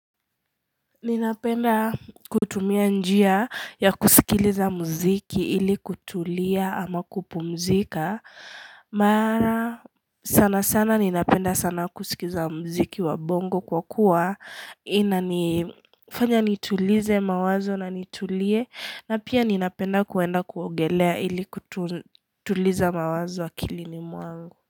Ninapenda kutumia njia ya kusikiliza mziki ili kutulia ama kupumzika Mara sana sana ninapenda sana kusikiza mziki wa bongo kwa kuwa ina nifanya nitulize mawazo na nitulie na pia ninapenda kuenda kuogelea ili kutuliza mawazo akilini mwangu.